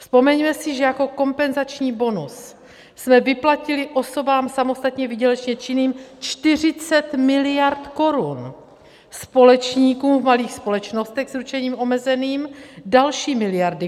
Vzpomeňme si, že jako kompenzační bonus jsme vyplatili osobám samostatně výdělečně činným 40 miliard korun, společníkům v malých společnostech s ručením omezeným další miliardy.